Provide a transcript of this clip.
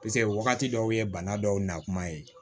wagati dɔw ye bana dɔw na kuma ye